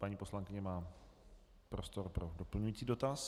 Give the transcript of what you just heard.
Paní poslankyně má prostor pro doplňující dotaz.